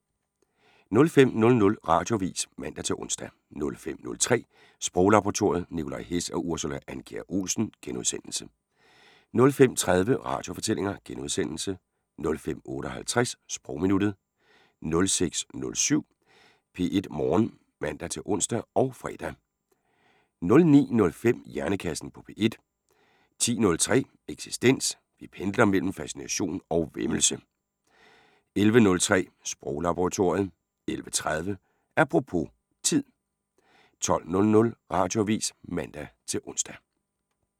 05:00: Radioavis (man-ons) 05:03: Sproglaboratoriet: Nicolai Hess og Ursula Andkjær Olsen * 05:30: Radiofortællinger * 05:58: Sprogminuttet 06:07: P1 Morgen (man-ons og fre) 09:05: Hjernekassen på P1 10:03: Eksistens: Vi pendler mellem fascination og væmmelse 11:03: Sproglaboratoriet 11:30: Apropos - tid 12:00: Radioavis (man-ons)